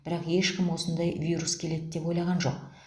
бірақ ешкім осындай вирус келеді деп ойлаған жоқ